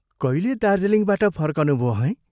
कहिले दार्जीलिङबाट फर्कनुभो हैं?